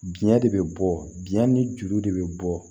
Biɲɛ de bɛ bɔ biɲɛ ni juru de bɛ bɔ